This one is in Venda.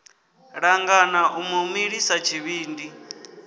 langana u mu milisa tshivhindi